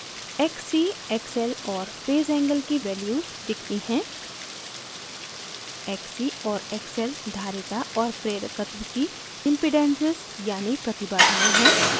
xc xl और phase angle की values दिखती हैं xc और xl धारिता और प्रेरकत्व की impedances यानि प्रतिबाधायें हैं